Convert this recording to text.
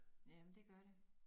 Jamen det gør det